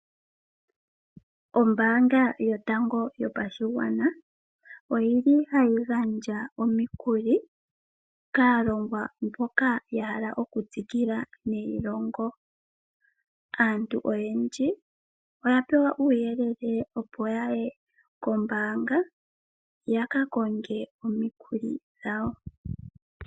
Ombaanga yotango yopashigwana oyi li hayi gandja omikuli kaalongwa mboka ya hala okutsikila neilongo. Aantu oyendji oya pewa uuyele opo yaye koombanga ya kankonge omikuli dhawo.